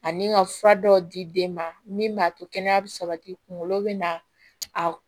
Ani ka fura dɔw di den ma min b'a to kɛnɛya bɛ sabati kunkolo bɛ na a